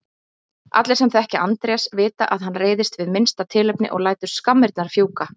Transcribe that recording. Allir sem þekkja Andrés vita að hann reiðist við minnsta tilefni og lætur skammirnar fjúka.